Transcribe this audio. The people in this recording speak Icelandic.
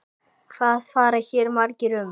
Hvað fara hér margir um?